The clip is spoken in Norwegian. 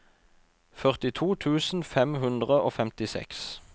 førtito tusen fem hundre og femtiseks